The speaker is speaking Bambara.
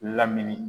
Lamini